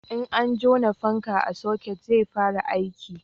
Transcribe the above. in an jona fanka a soket zai fara aiki